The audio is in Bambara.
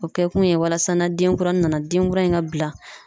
O kɛ kun ye walasa na denkuranin nana, denkura in ka bila